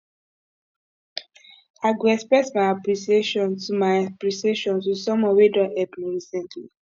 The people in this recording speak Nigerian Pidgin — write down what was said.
i go express my appreciation to my appreciation to someone wey don help me recently